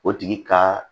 O tigi ka